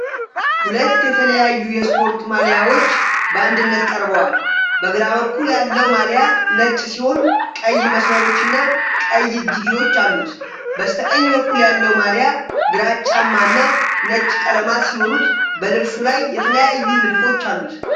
ሁለት የተለያዩ የስፖርት ማልያዎች በአንድነት ቀርበዋል። በግራ በኩል ያለው ማልያ ነጭ ሲሆን፣ ቀይ መስመሮችና ቀይ እጅጌዎች አሉት። በስተቀኝ በኩል ያለው ማልያ ግራጫማ እና ነጭ ቀለማት ሲኖሩት፣ በልብሱ ላይ የተለያዩ ንድፎች አሉት።